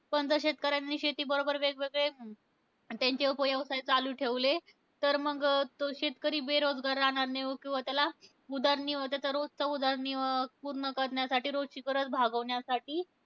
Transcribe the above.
पण त्या शेतकऱ्यांनी शेतीबरोबर वेगवेगळे त्यांचे उपव्यवसाय चालू ठेवले तर मंग, तो शेतकरी बेरोजगार राहणार नाही. किंवा त्याला उदरनि त्याचा रोजचा उदरनिर्वाह पूर्ण करण्यासाठी, रोजची गरज भागवण्यासाठी,